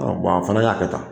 A a fana y'a kɛ tan